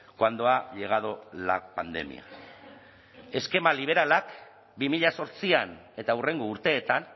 cuando ha llegado la pandemia eskema liberalak bi mila zortzian eta hurrengo urteetan